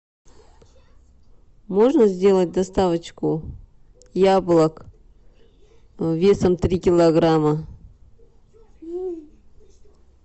можно сделать доставочку яблок весом три килограмма